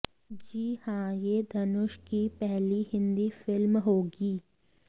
जी हां यह धनुष की पहली हिंदी फिल्म होगी